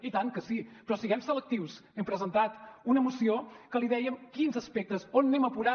i tant que sí però siguem selectius hem presentat una esmena en què li dèiem en quins aspectes on anem a apurar